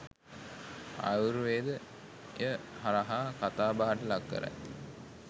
ආයුර්වේදය හරහා කතාබහට ලක් කරයි.